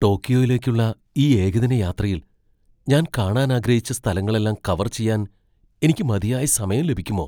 ടോക്കിയോയിലേക്കുള്ള ഈ ഏകദിന യാത്രയിൽ ഞാൻ കാണാൻ ആഗ്രഹിച്ച സ്ഥലങ്ങളെല്ലാം കവർ ചെയ്യാൻ എനിക്ക് മതിയായ സമയം ലഭിക്കുമോ?